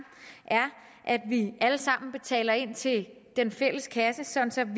er at vi alle sammen betaler ind til den fælles kasse sådan